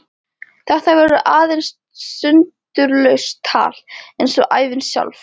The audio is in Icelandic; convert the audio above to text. Þetta verður aðeins sundurlaust tal eins og ævin sjálf.